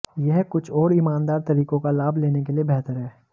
यह कुछ और ईमानदार तरीकों का लाभ लेने के लिए बेहतर है